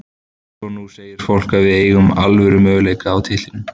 Svo nú segir fólk að við eigum alvöru möguleika á titlinum.